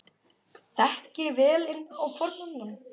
Þekkið þið vel inn á hvorn annan?